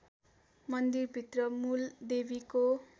मन्दिरभित्र मूल देवीको